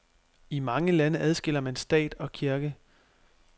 I mange lande adskiller man stat og kirke.